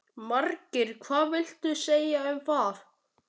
Markið hvað viltu segja um það?